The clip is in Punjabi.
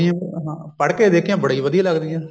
ਬੋਲੀ ਹਾਂ ਪੜ੍ਹ ਕੇ ਦੇਖਿਆ ਬੜੀ ਵਧੀਆ ਲੱਗਦੀਆਂ